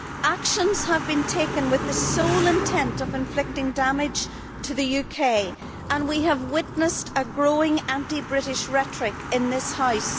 Actions have been taken with the sole intent of inflicting damage on the UK, and we have witnessed a growing anti British rhetoric in this House.